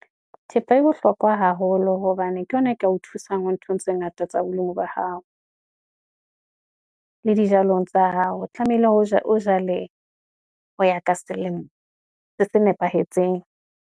Thepa e bohlokwa haholo, hobane ke yona e ka o thusang ho nthong tse ngata tsa bolemi ba hao, le dijalong tsa hao, tlamehile ho ja, o jale ho ya ka selemo le se nepahetseng.